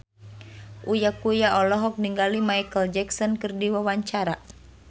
Uya Kuya olohok ningali Micheal Jackson keur diwawancara